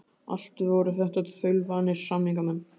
Allt voru þetta þaulvanir samningamenn.